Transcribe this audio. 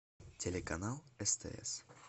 телеканал стс